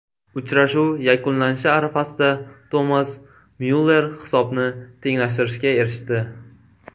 Uchrashuv yakunlanishi arafasida Tomas Myuller hisobni tenglashtirishga erishdi.